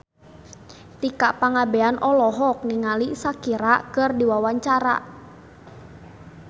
Tika Pangabean olohok ningali Shakira keur diwawancara